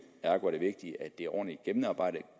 ergo er det vigtigt at det er ordentligt gennemarbejdet